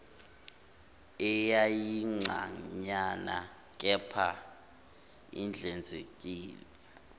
eyayincanyana kepha ihlanzekile